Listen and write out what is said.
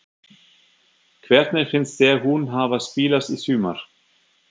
Hvernig finnst þér hún hafa spilast í sumar?